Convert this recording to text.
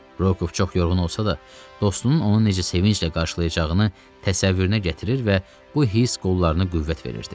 Rokov çox yorğun olsa da, dostunun onu necə sevinclə qarşılayacağını təsəvvürünə gətirir və bu hiss qollarını qüvvət verirdi.